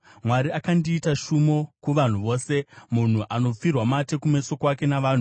“Mwari akandiita shumo kuvanhu vose, munhu anopfirwa mate kumeso kwake navanhu.